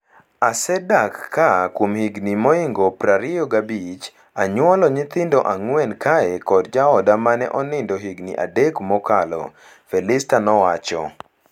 "Asedak ka kuom higni moingo prario gabich. Anyuolo nyithindo ang'wen kae kod jaoda mane onindo higni adek mokalo." Felister nowacho.